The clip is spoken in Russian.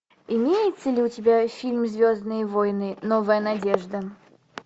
имеется ли у тебя фильм звездные войны новая надежда